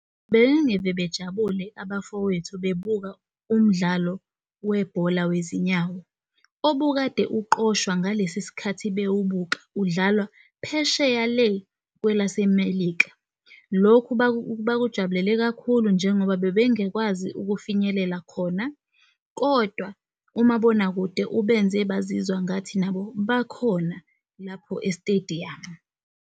Bengingeke bejabule abafowethu bebuka umdlalo webhola wezinyawo, obukade uqoshwa ngalesi sikhathi bewubuka udlalwa phesheya le kwelase melika. Lokhu bakujabulele kakhulu njengoba bebengakwazi ukufinyelela khona. Kodwa umabonakude ubenze bazizwa ngathi nabo bakhona lapho e-stadium.